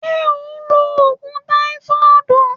Se o n lo ogun taifodu?